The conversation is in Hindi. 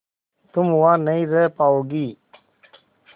तुम वहां नहीं रह पाओगी